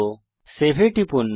এখন সেভ এ টিপুন